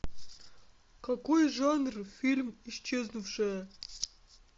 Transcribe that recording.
какой жанр фильм исчезнувшая